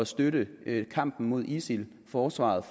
støtte kampen mod isil forsvaret